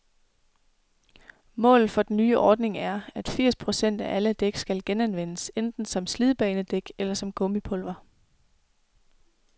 Målet for den nye ordning er, at firs procent af alle dæk skal genanvendes, enten som slidbanedæk eller som gummipulver.